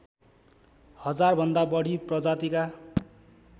हजारभन्दा बढी प्रजातिका